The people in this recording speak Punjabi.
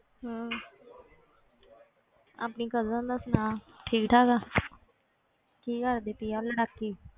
ਹਮ ਆਪਣੀ cousin ਦਾ ਸੁਣਾ ਠੀਕ ਠਾਕ ਆ ਕੀ ਕਰਦੀ ਪਈ ਆ ਉਹ ਲੜਾਕੀ?